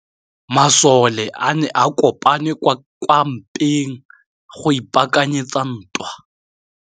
Masole a ne a kopane kwa kampeng go ipaakanyetsa ntwa.